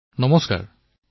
প্ৰধানমন্ত্ৰীঃ নমস্কাৰ